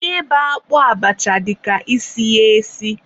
ịba akpụ abacha dịka isi ya esi.